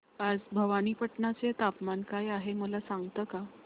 आज भवानीपटना चे तापमान काय आहे मला सांगता का